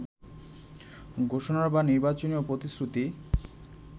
ঘোষণা বা নির্বাচনী প্রতিশ্রুতি